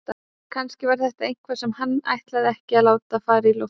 Kannski var þetta eitthvað sem hann ætlaði ekki að láta fara í loftið.